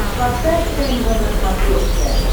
поставь тнв на смотрешке